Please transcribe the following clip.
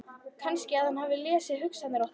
Kannski að hann hafi lesið hugsanir okkar.